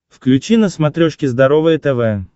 включи на смотрешке здоровое тв